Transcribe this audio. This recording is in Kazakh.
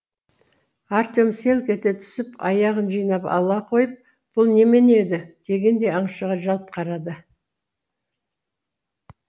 артем селк ете түсіп аяғын жинап ала қойып бұл немене еді дегендей аңшыға жалт қарады